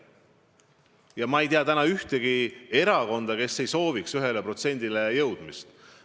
Ja ma ei tea täna ühtegi erakonda, kes ei sooviks 1%-ni jõudmist.